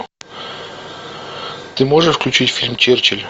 ты можешь включить фильм черчилль